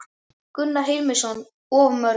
Gunnar Hilmarsson: Of mörg?